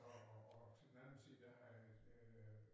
Og og og til den anden side der har et øh